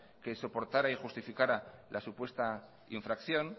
que soportara y justificara la supuesta infracción